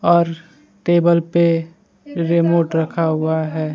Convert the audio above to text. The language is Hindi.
और टेबल पे रिमोट रखा हुआ है।